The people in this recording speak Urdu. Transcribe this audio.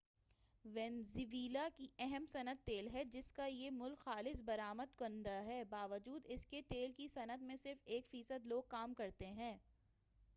وینزویلا کی اہم صنعت تیل ہے جسکا یہ ملک خالص برآمد کنندہ ہے باوجود اسکے تیل کی صنعت میں صرف ایک فیصد لوگ کام کرتے ہیں